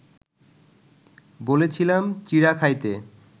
বলেছিলাম চিঁড়া খাইতে